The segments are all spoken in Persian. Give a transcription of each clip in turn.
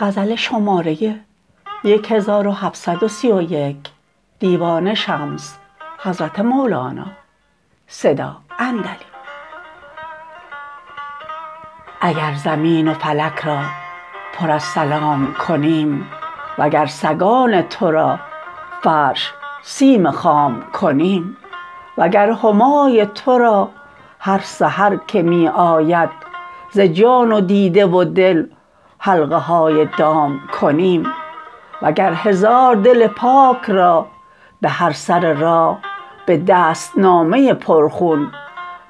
اگر زمین و فلک را پر از سلام کنیم وگر سگان تو را فرش سیم خام کنیم وگر همای تو را هر سحر که می آید ز جان و دیده و دل حلقه های دام کنیم وگر هزار دل پاک را به هر سر راه به دست نامه پرخون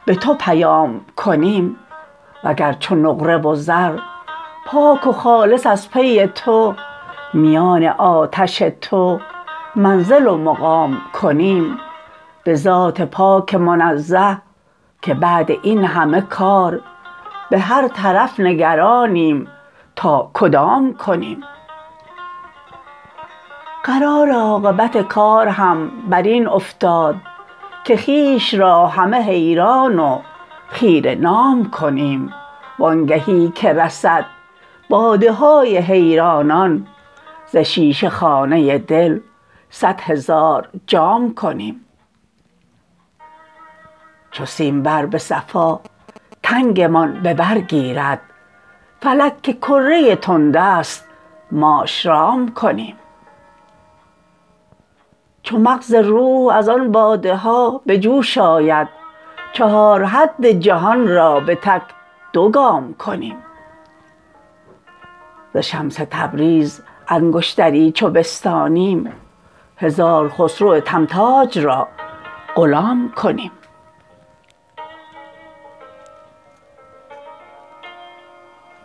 به تو پیام کنیم وگر چو نقره و زر پاک و خالص از پی تو میان آتش تو منزل و مقام کنیم به ذات پاک منزه که بعد این همه کار به هر طرف نگرانیم تا کدام کنیم قرار عاقبت کار هم بر این افتاد که خویش را همه حیران و خیره نام کنیم و آنگهی که رسد باده های حیرانان ز شیشه خانه دل صد هزار جام کنیم چو سیمبر به صفا تنگمان به بر گیرد فلک که کره تند است ماش رام کنیم چو مغز روح از آن باده ها به جوش آید چهار حد جهان را به تک دو گام کنیم ز شمس تبریز انگشتری چو بستانیم هزار خسرو تمغاج را غلام کنیم